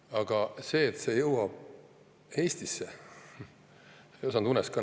Aga seda, et see jõuab Eestisse, ei osanud ma unes ka näha.